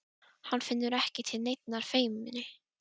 Hann finnur ekki til neinnar feimni.